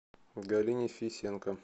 галине фисенко